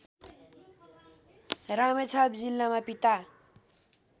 रामेछाप जिल्लामा पिता